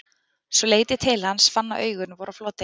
Svo leit ég til hans, fann að augun voru á floti.